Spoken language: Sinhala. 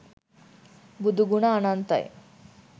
බුදුගුණ අනන්තයි